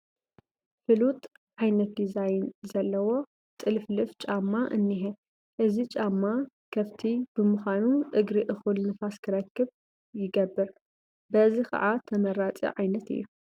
ፍሉጥ ዓይነት ዲዛይን ዘለዎ ጥልፍልፍ ጫማ እኒሀ፡፡ እዚ ጫማ ክፍቲ ብምዃኑ እግሪ እኹል ንፋስ ክረክብ ይገብ፡፡ በዚ ከዓ ተመራፂ ዓይነት እዩ፡፡